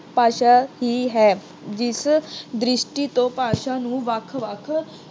ਭਾਸ਼ਾ ਹੀ ਹੈ। ਜਿਸ ਦ੍ਰਿਸ਼ਟੀ ਤੋਂ ਭਾਸ਼ਾ ਨੂੰ ਵੱਖ-ਵੱਖ